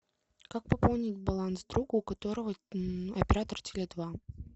как пополнить баланс другу у которого оператор теле два